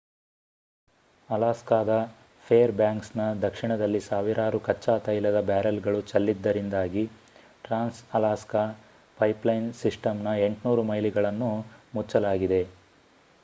ಅಲಾಸ್ಕಾದ ಫೇರ್‌ಬ್ಯಾಂಕ್ಸ್‌ನ ದಕ್ಷಿಣದಲ್ಲಿ ಸಾವಿರಾರು ಕಚ್ಚಾ ತೈಲದ ಬ್ಯಾರೆಲ್‌ಗಳು ಚೆಲ್ಲಿದ್ದರಿಂದಾಗಿ ಟ್ರಾನ್ಸ್‌ ಅಲಾಸ್ಕಾ ಪೈಪ್‌ಲೈನ್‌ ಸಿಸ್ಟಂನ 800 ಮೈಲುಗಳನ್ನು ಮುಚ್ಚಲಾಗಿದೆ